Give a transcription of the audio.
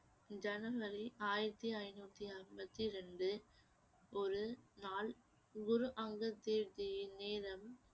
ஜனவரி ஆயிரத்தி ஐந்நூத்தி அம்பத்தி ரெண்டு ஒரு நாள் குரு அங்கத் தேவ் ஜியின் நேரம்